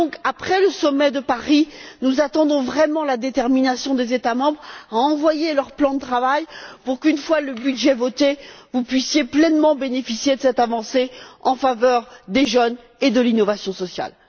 Après le sommet de Paris, nous attendons donc vraiment la détermination des États membres à envoyer leur plan de travail pour qu'une fois le budget voté, vous puissiez pleinement bénéficier de cette avancée en faveur des jeunes et de l'innovation sociale...